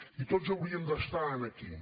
i tots hauríem d’estar aquí